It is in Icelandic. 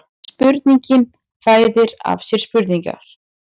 Spurningin fæðir af sér spurningar